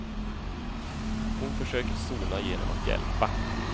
Hon försöker sona genom att hjälpa.